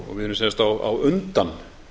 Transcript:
við erum sem sagt á undan